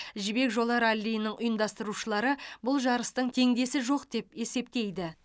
жібек жолы раллиінің ұйымдастырушылары бұл жарыстың теңдесі жоқ деп есептейді